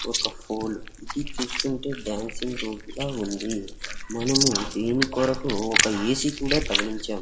ఒక ఫోల్ ఇది చూస్తుంటే డాన్సింగ్ రూమ్ లా ఉంది మనము దీని కొరకు ఒక ఏ_సీ కూడా తగిలించాం.